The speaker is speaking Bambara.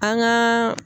An gaa